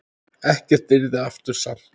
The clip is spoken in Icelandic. Ekkert yrði aftur samt.